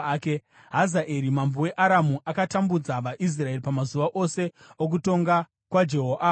Hazaeri mambo weAramu akatambudza vaIsraeri pamazuva ose okutonga kwaJehoahazi.